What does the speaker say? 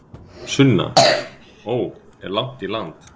Sunna: Ó, er langt í land?